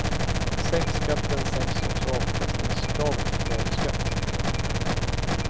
Sänks skatten, sänks också avkastningskravet före skatt.